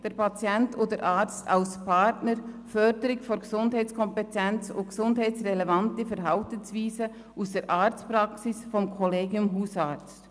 Der Patient und der Arzt sehen sich als Partner durch Förderung der Gesundheitskompetenz und der gesundheitsrelevanten Verhaltensweisen aus der Arztpraxis vom Kollegium Hausarzt.